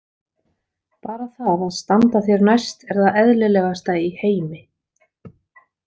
Bara það að standa þér næst er það eðlilegasta í heimi.